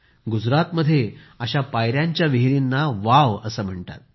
गुजरातमध्ये अशा पाययांच्या विहिरींना वाव असे म्हणतात